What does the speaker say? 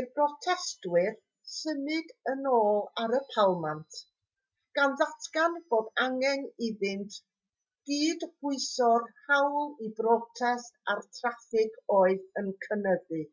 i'r protestwyr symud yn ôl ar y palmant gan ddatgan bod angen iddynt gydbwyso'r hawl i brotest â'r traffig oedd yn cynyddu